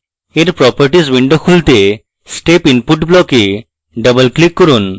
এর properties window খুলতে step input block double click করুন